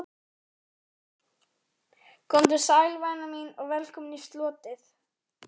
Komdu sæl, væna mín, og velkomin í slotið.